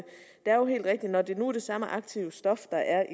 når det nu er det samme aktive stof der er